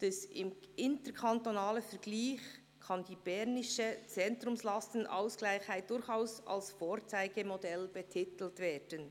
«Im interkantonalen Vergleich kann der bernische Zentrumslastenausgleichheit durchaus als ‹Vorzeigemodell› betitelt werden.